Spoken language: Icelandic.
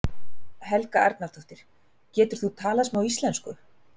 Helga Arnardóttir: Getur þú talað smá íslensku?